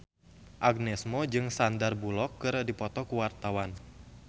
Agnes Mo jeung Sandar Bullock keur dipoto ku wartawan